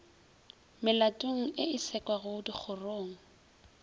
melatong ye e sekwago dikgorong